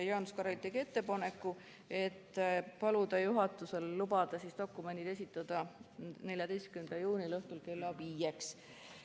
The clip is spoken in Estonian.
Jaanus Karilaid tegi ettepaneku paluda juhatuselt lubada dokumendid esitada 14. juuni õhtul kella 17-ks.